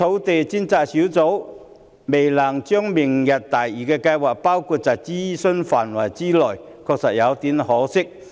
至於專責小組未能把明日大嶼計劃納入諮詢範圍，的確有點可惜。